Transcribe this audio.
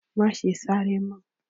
Má ṣe sáré mọ́.